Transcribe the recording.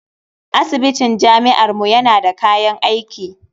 Asibitin jami'armu yana da kayan aiki.